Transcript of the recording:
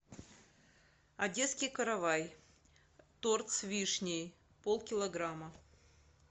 одесский каравай торт с вишней полкилограмма